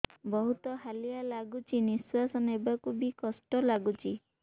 ବହୁତ୍ ହାଲିଆ ଲାଗୁଚି ନିଃଶ୍ବାସ ନେବାକୁ ଵି କଷ୍ଟ ଲାଗୁଚି